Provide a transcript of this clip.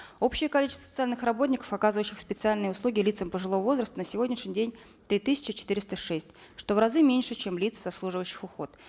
общее количество социальных работников оказывающих специальные услуги лицам пожилого возраста на сегодняшний день три тысячи четыреста шесть что в разы меньше чем лиц заслуживающих уход